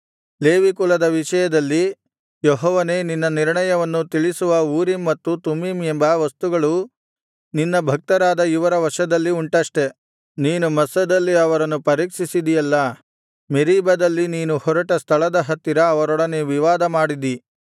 Levi ಕುಲದ ವಿಷಯದಲ್ಲಿ ಯೆಹೋವನೇ ನಿನ್ನ ನಿರ್ಣಯವನ್ನು ತಿಳಿಸುವ ಊರೀಮ್ ಮತ್ತು ತುಮ್ಮೀಮ್ ಎಂಬ ವಸ್ತುಗಳು ನಿನ್ನ ಭಕ್ತರಾದ ಇವರ ವಶದಲ್ಲಿ ಉಂಟಷ್ಟೆ ನೀನು ಮಸ್ಸದಲ್ಲಿ ಅವರನ್ನು ಪರೀಕ್ಷಿಸಿದಿಯಲ್ಲಾ ಮೆರೀಬದಲ್ಲಿ ನೀರು ಹೊರಟ ಸ್ಥಳದ ಹತ್ತಿರ ಅವರೊಡನೆ ವಿವಾದಮಾಡಿದಿ